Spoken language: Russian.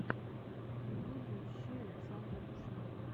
в ютубе ищи александра пушного